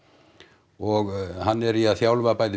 og hann er í að þjálfa bæði